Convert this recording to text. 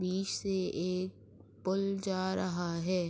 بیچ سے ایک پول جا رہا ہے۔